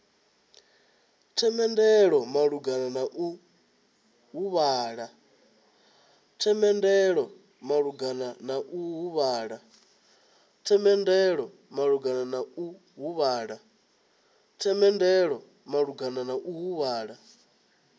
themendelo malugana na u huvhala